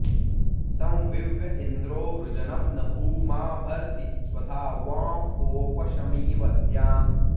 सं वि॑व्य॒ इन्द्रो॑ वृ॒जनं॒ न भूमा॒ भर्ति॑ स्व॒धावा॑ँ ओप॒शमि॑व॒ द्याम्